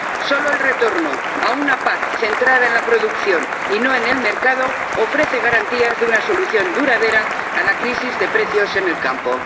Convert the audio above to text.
Solo el retorno a una PAC centrada en la producción y no en el mercado ofrece garantías de una solución duradera a la crisis de precios en el campo.